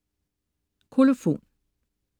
Kolofon